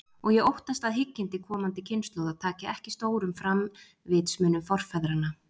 Og ég óttast, að hyggindi komandi kynslóða taki ekki stórum fram vitsmunum forfeðranna.